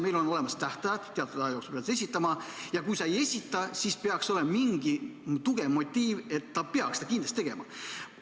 Meil on olemas tähtajad, teatud aja jooksul pead sa esitama, ja kui sa ei esita, siis peaks sul olema mingi tugev motiiv seda kindlasti teha.